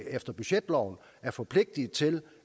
efter budgetloven er forpligtet til